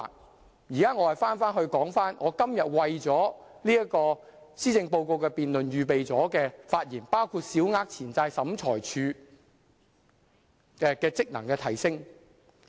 我現在返回我今天為了施政報告辯論預備了的發言，內容包括小額錢債審裁處職能的提升。